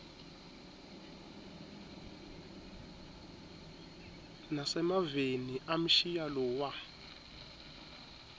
nasemaveni amshiya lowa